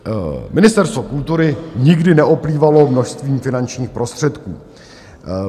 Ministerstvo kultury nikdy neoplývalo množstvím finančních prostředků.